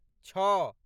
छओ